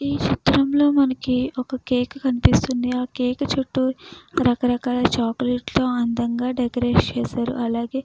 ఈ చిత్రంలో మనకి కేకు కనిపిస్తుంది. ఆ కేకు చుట్టు రకరకాల చాక్లెట్లు అందంగా డెకరేట్ చేశారు. అలాగే --